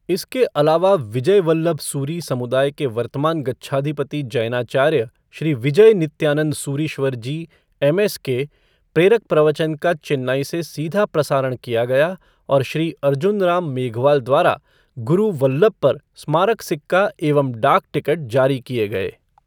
इसके अलावा विजय वल्लभ सूरी समुदाय के वर्तमान गच्छधिपति जैनाचार्य श्री विजय नित्यानंद सूरीश्वर जी एम एस के प्रेरक प्रवचन का चेन्नई से सीधा प्रसारण किया गया और श्री अर्जुन राम मेघवाल द्वारा गुरु वल्लभ पर स्मारक सिक्का एवं डाक टिकट जारी किए गए।